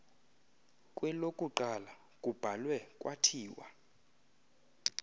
kwelokuqala kubhalwe kwathiwa